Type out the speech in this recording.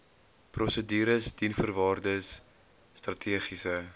prosedures diensvoorwaardes strategiese